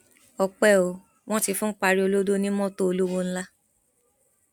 ọpẹ ò wọn ti fún pariolodo ní mọtò olówó ńlá